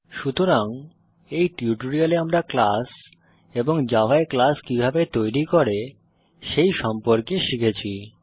সুতরাং এই টিউটোরিয়ালে আমরা ক্লাস এবং জাভায় ক্লাস কিভাবে তৈরি করে সেই সম্পর্কে শিখেছি